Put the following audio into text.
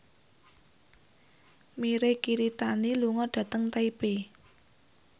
Mirei Kiritani lunga dhateng Taipei